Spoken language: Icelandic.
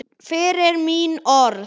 Fyrir mín orð.